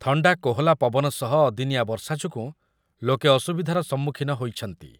ଥଣ୍ଡା କୋହଲା ପବନ ସହ ଅଦିନିଆ ବର୍ଷା ଯୋଗୁଁ ଲୋକେ ଅସୁବିଧାର ସମ୍ମୁଖୀନ ହୋଇଛନ୍ତି ।